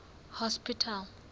hospital